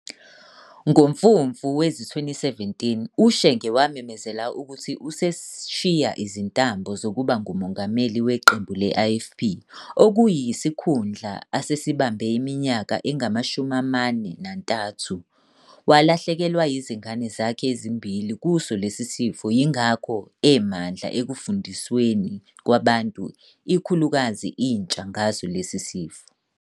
NgoMfumfu wezi-2017 uShenge wamemezela ukuthi useshiya izintambo zokuba nguMongameli waqembu le-IFP, okuyikhundla asesibambe iminyaka engama-43. Walahlekelwa inzigane zakhe ezimbili kuso lesisifo yingakho emandla ekufundisweni kwabantu ikhulukazi intsha ngaso lesi sifo.